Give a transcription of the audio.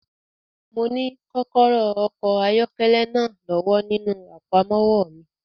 Mo ní kọ́kọ́rọ́ okọ̀ ayọ́kẹ́lẹ́ náà lọ́wọ́ nínú àpamọ́wọ́ mi.